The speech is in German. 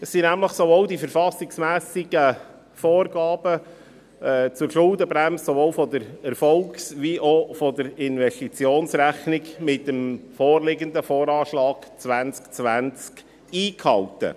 Mit dem vorliegenden VA 2020 werden die verfassungsmässigen Vorgaben zur Schuldenbremse nämlich sowohl in der Erfolgs- als auch in der Investitionsrechnung eingehalten.